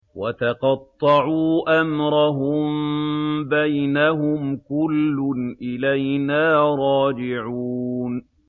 وَتَقَطَّعُوا أَمْرَهُم بَيْنَهُمْ ۖ كُلٌّ إِلَيْنَا رَاجِعُونَ